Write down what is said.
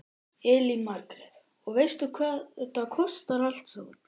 Elín Margrét: Og veistu hvað þetta kostar allt saman?